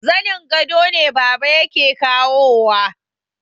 Zanin gado ne baba yake kawowa